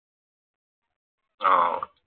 ആഹ്